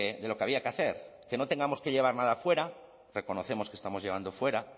de lo que había que hacer que no tengamos que llevar nada fuera reconocemos que estamos llevando fuera